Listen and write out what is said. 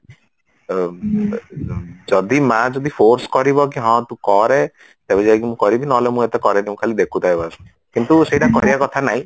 ଯଦି ମା ଯଦି force କରିବ କି ହଁ ତୁ କରେ ତେବେ ଯାଇକି ମୁଁ କରିବି ନହେଲେ ମୁଁ ଏତେ କରେନି ମୁଁ ଖାଲି ଦେଖୁଥାଏ ବାସ କିନ୍ତୁ ସେଇଟା କରିବା କଥା ନାଇଁ